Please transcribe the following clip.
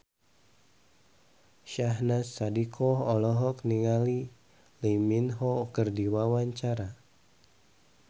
Syahnaz Sadiqah olohok ningali Lee Min Ho keur diwawancara